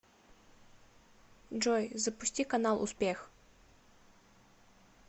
джой запусти канал успех